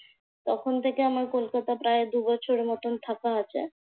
তখন থেকে আমার কলকাতায় প্রায় দুবছরের মত থাকা আছে।